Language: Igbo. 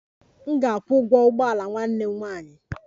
M ga-akwụ ụgwọ ụgbọ ala nwanne m nwanyị